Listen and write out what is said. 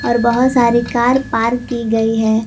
और बहोत सारे कार पार्क की गई है।